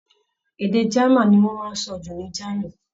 Èdè German ní wọ́n máa ń sọ jù ní Germany.